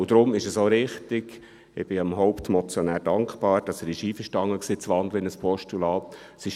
Und deshalb ist es auch richtig – ich bin dem Hauptmotionär dankbar –, dass er einverstanden war, in ein Postulat zu wandeln;